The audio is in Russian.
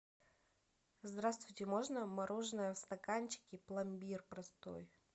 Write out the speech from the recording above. здравствуйте можно мороженое в стаканчике пломбир простой